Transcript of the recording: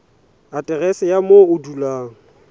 aterese ya moo o dulang